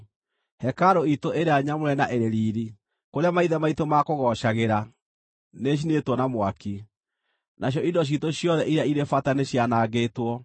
Hekarũ iitũ ĩrĩa nyamũre na ĩrĩ riiri, kũrĩa maithe maitũ maakũgoocagĩra, nĩĩcinĩtwo na mwaki, nacio indo ciitũ ciothe iria irĩ bata nĩcianangĩtwo.